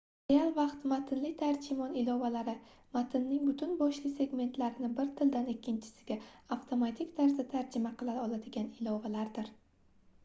real vaqt matnli tarjimon ilovalari matnning butun boshli segmentlarini bir tildan ikkinchisiga avtomatik tarzda tarjima qila oladigan ilovalardir